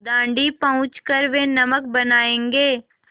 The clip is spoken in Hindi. दाँडी पहुँच कर वे नमक बनायेंगे